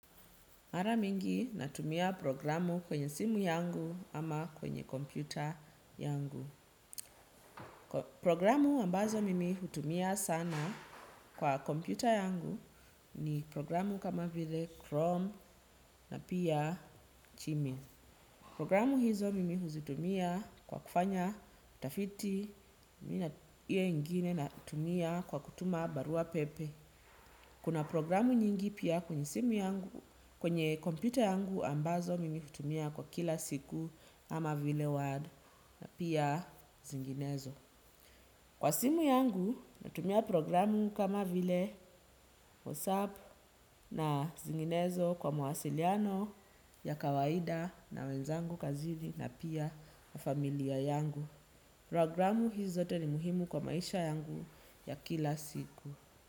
Mara mingi natumia programu kwenye simu yangu ama kwenye kompyuta yangu. Programu ambazo mimi hutumia sana kwa kompyuta yangu ni programu kama vile chrome na pia gmail programu hizo mimi huzitumia kwa kufanya utafiti iyo ingine natumia kwa kutuma barua pepe. Kuna programu nyingi pia kwenye simu yangu kwenye kompyuta yangu ambazo mimi hutumia kwa kila siku kama vile word na pia zinginezo. Kwa simu yangu natumia programu kama vile WhatsApp na zinginezo kwa mawasiliano ya kawaida na wenzangu kazini na pia familia yangu. Programu hizi zote ni muhimu kwa maisha yangu ya kila siku.